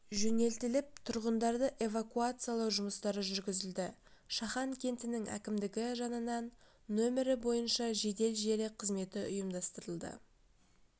жөнелтіліп тұрғындарды эвакуациялау жұмыстары жүргізілді шахан кентінің әкімдігі жанынан нөмірі бойынша жедел желі қызметі ұйымдастырылды